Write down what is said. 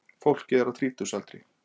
Fólkið er á þrítugsaldri